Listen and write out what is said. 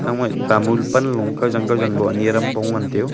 aogaih tamul panlo kajang kajang lo ani adam pong ngantiyu.